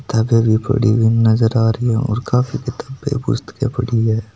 किताबे पड़ी हुई नजर आ रही है और काफी किताबे पुस्तके पड़ी है।